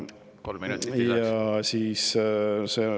Kolm minutit lisaks.